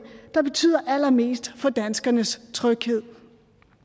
der betyder allermest for danskernes tryghed